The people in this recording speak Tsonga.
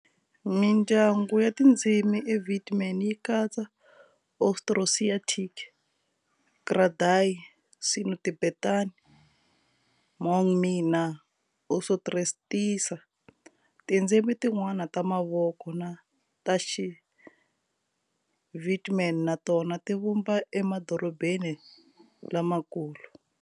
Mindyangu ya tindzimi eVietnam yi katsa Austroasiatic, Kra-Dai, Sino-Tibetan, Hmong-Mien na Austronesia. Tindzimi tin'wana ta mavoko ta Xivietnam na tona ti vumbiwa emadorobeni lamakulu.